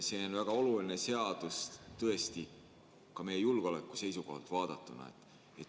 See on väga oluline seadus, tõesti, ka meie julgeoleku seisukohalt vaadatuna.